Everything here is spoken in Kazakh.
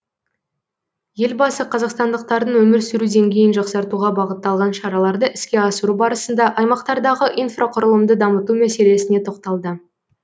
елбасы қазақстандықтардың өмір сүру деңгейін жақсартуға бағытталған шараларды іске асыру барысында аймақтардағы инфрақұрылымды дамыту мәселесіне тоқталды